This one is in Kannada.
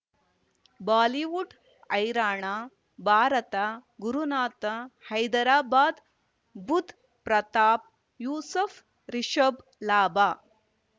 ಬಾಲಿವುಡ್ ಹೈರಾಣ ಭಾರತ ಗುರುನಾಥ ಹೈದರಾಬಾದ್ ಬುಧ್ ಪ್ರತಾಪ್ ಯೂಸುಫ್ ರಿಷಬ್ ಲಾಭ